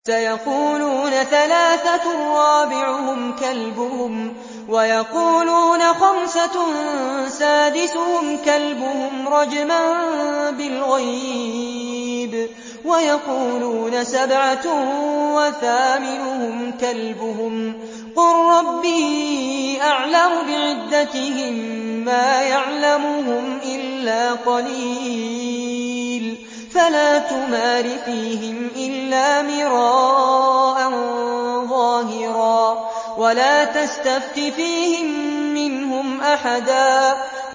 سَيَقُولُونَ ثَلَاثَةٌ رَّابِعُهُمْ كَلْبُهُمْ وَيَقُولُونَ خَمْسَةٌ سَادِسُهُمْ كَلْبُهُمْ رَجْمًا بِالْغَيْبِ ۖ وَيَقُولُونَ سَبْعَةٌ وَثَامِنُهُمْ كَلْبُهُمْ ۚ قُل رَّبِّي أَعْلَمُ بِعِدَّتِهِم مَّا يَعْلَمُهُمْ إِلَّا قَلِيلٌ ۗ فَلَا تُمَارِ فِيهِمْ إِلَّا مِرَاءً ظَاهِرًا وَلَا تَسْتَفْتِ فِيهِم مِّنْهُمْ أَحَدًا